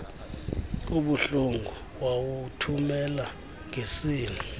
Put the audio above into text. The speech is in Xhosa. obuhlungu wawuthumela ngeseli